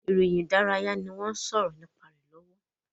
Ìròyìn ìdárayá ni wọ́n ń sọ̀rọ̀ nípa rẹ̀ lọ́wọ́